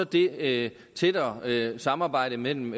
det tættere samarbejde mellem